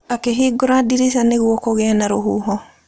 Akĩhingũra ndirica nĩguo kũgĩe na rũhuho.